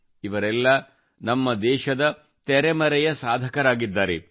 ಇವರೆಲ್ಲ ನಮ್ಮ ದೇಶದ ತೆರೆಮರೆಯ ಸಾಧಕರಾಗಿದ್ದಾರೆ